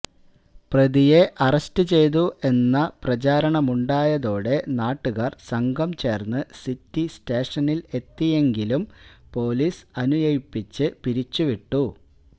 പ്രതിയെ അറസ്റ്റ് ചെയ്തു എന്ന് പ്രചാരണമുണ്ടായതോടെ നാട്ടുകാര് സംഘം ചേര്ന്ന് സിറ്റി സ്റ്റേഷനില് എത്തിയെങ്കിലും പൊലീസ് അനുനയിപ്പിച്ചു പിരിച്ചു വിട്ടു